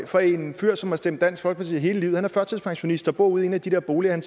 fra en fyr som har stemt dansk folkeparti hele livet han er førtidspensionist og bor ude i en af de der boliger